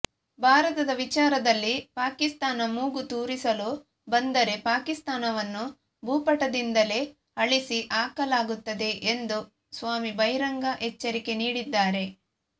ಭಾರತದ ವಿಚಾರದಲ್ಲಿ ಪಾಕಿಸ್ತಾನ ಮೂಗು ತೂರಿಸಲು ಬಂದರೆ ಪಾಕಿಸ್ತಾನವನ್ನು ಭೂಪಟದಿಂದಲೇ ಅಳಿಸಿ ಹಾಕಲಾಗುತ್ತದೆ ಎಂದು ಸ್ವಾಮಿ ಬಹಿರಂಗ ಎಚ್ಚರಿಕೆ ನೀಡಿದ್ದಾರೆ